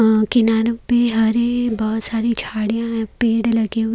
अ किनारे पे हरे बोहोत सारी झाड़ियां है पेड़ लगे हुए--